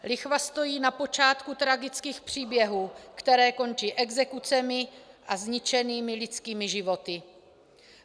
Lichva stojí na počátku tragických příběhů, které končí exekucemi a zničenými lidskými životy.